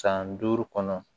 San duuru kɔnɔ